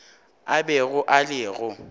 a bego a le go